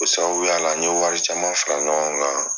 O sabuya la n ye wari caman fara ɲɔgɔn kan